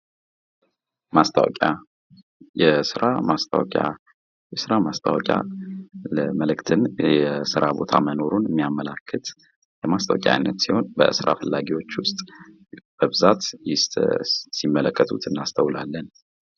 ማስታወቂያ፤ የስራ ማስታወቂያ፦ የስራ ማስታወቂያ መልእክትን የስራ ቦታ መኖሩን የሚያመልክት ማስታወቂያ አይነት ሲሆን በአብዛኞቹ በእስራ ፈላጊዎች ውስጥ ሲመለከቱት አስተውላለን።